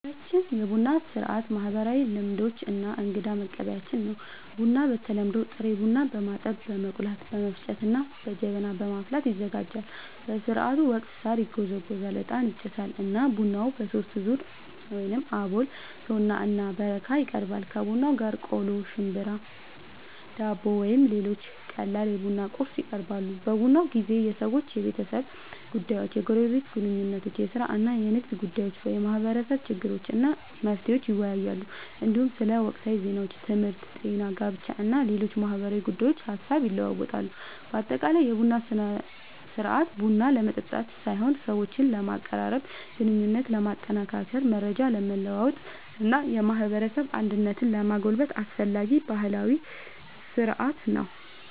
በአካባቢያችን የቡና ሥርዓት ማህበራዊ ልምዶች እና እንግዳን መቀበያችን ነው። ቡናው በተለምዶ ጥሬ ቡናን በማጠብ፣ በመቆላት፣ በመፍጨት እና በጀበና በማፍላት ይዘጋጃል። በሥርዓቱ ወቅት ሣር ይጎዘጎዛል፣ ዕጣን ይጨሳል እና ቡናው በሦስት ዙር (አቦል፣ ቶና እና በረካ) ይቀርባል። ከቡናው ጋር ቆሎ፣ ሽምብራ፣ ዳቦ ወይም ሌሎች ቀላል የቡና ቁርስ ይቀርባል። በቡና ጊዜ ሰዎች የቤተሰብ ጉዳዮችን፣ የጎረቤት ግንኙነቶችን፣ የሥራ እና የንግድ ጉዳዮችን፣ የማህበረሰብ ችግሮችን እና መፍትሄዎቻቸውን ይወያያሉ። እንዲሁም ስለ ወቅታዊ ዜናዎች፣ ትምህርት፣ ጤና፣ ጋብቻ እና ሌሎች ማህበራዊ ጉዳዮች ሐሳብ ይለዋወጣሉ። በአጠቃላይ የቡና ሥርዓት ቡና ለመጠጣት ሳይሆን ሰዎችን ለማቀራረብ፣ ግንኙነትን ለማጠናከር፣ መረጃ ለመለዋወጥ እና የማህበረሰብ አንድነትን ለማጎልበት አስፈላጊ ባህላዊ ሥርዓት ነው።